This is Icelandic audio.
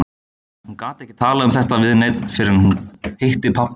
Hún gat ekki talað um þetta við neinn fyrr en hún hitti pabba hennar.